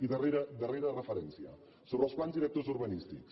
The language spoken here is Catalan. i darrera referència sobre els plans directors urbanístics